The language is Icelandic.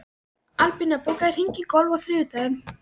Albína, bókaðu hring í golf á þriðjudaginn.